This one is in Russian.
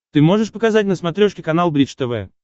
ты можешь показать на смотрешке канал бридж тв